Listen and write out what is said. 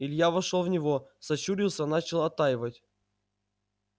илья вошёл в него сощурился начал оттаивать